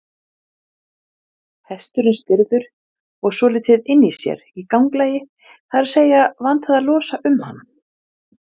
Húðin á okkur er tvískipt.